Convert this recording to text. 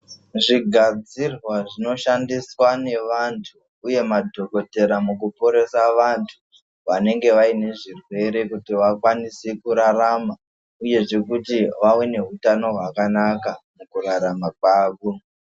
Zvigadzirwa zvinoshandiswa nevanhu uye madhokotera mukuporesa vantu vanenge vaine zvirwere kuti vakwanise kurarama uyezve kuti vave neutano hwakanaka mukurarama kwavo.